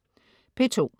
P2: